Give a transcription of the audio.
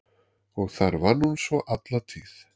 Og þar vann hún svo alla tíð.